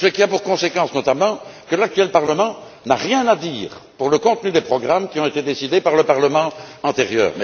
Ceci a pour conséquence, notamment, que l'actuel Parlement n'a rien à dire sur le contenu des programmes qui ont été décidés par le Parlement antérieur.